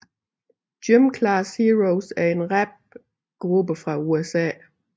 Gym Class Heroes er en rapgruppe fra USA